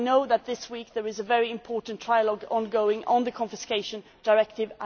I know that this week there is a very important trilogue on the confiscation directive.